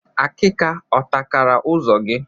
Akika ọ takara ụzọ gị?